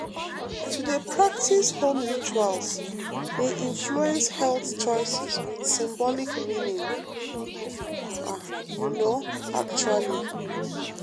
to dey practice home rituals dey influence health choices with symbolic meaning ah you know actually.